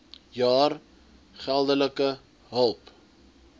jaar geldelike hulp